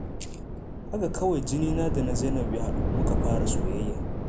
Haka kawai jinina da na Zainab ya haɗu, kuma muka fara soyayya.